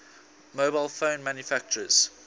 mobile phone manufacturers